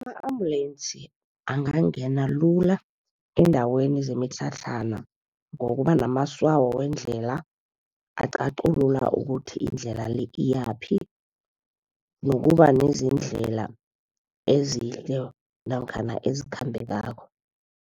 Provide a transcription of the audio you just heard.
Ama-ambulance angangena lula eendaweni zemitlhatlhana, ngokuba namatswayo wendlela aqaquluka ukuthi indlela le iyaphi. Nokuba nezindlela ezihle namkhana ezikhambekako.